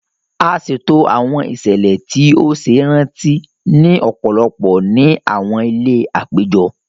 A ṣeto awọn iṣẹlẹ ti o ṣe iranti ni ọpọlọpọ ní awọn ilé apejọ